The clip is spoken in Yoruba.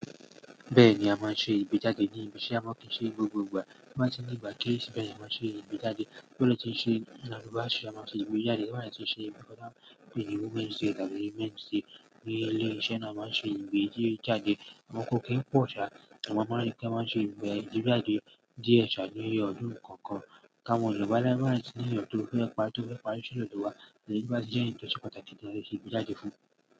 Bẹ́ẹ̀ni a máa ń ṣe ìgbejáde ní ibi ise, amo, kíi ṣe ni gbogbo ìgbà. Bí wọ́n bá ti ní ìgbà kí ì ṣe bẹ́ẹ̀ a máa ń ṣe ìbejáde. Bí wọ́n bá ti ń ṣe ìnáwó báàsì a máa ń ṣe ìbejáde. Bí wọ́n bá ti ń ṣe ìbọná ìyèwù mẹ́jì sí ẹgbẹ̀rún mẹ́jì sí mẹ́jì ní ilé-iṣẹ́ náà máa ń ṣe ìbejáde. Àmọ́ kó kí ń pọ̀ sá àwọn ọmọ oníṣẹ́ máa ń ṣe ìbejáde díẹ̀ ṣáájú ọdún kọ̀ọ̀kan. Ka mọ́jọ́ba láti bá wọn sì ní èèyàn tó fẹ́ pa tó fẹ́ parí sílẹ̀ ní ọdún wa lè bá sí jẹ́ ẹ̀tọ́ sí pàtàkì tí ẹ ṣe ìbejáde fún.